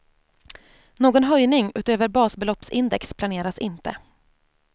Någon höjning utöver basbeloppsindex planeras inte.